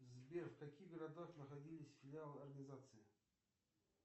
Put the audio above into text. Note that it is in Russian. сбер в каких городах находились филиалы организации